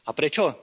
A prečo?